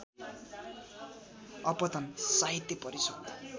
अपतन साहित्य परिषद्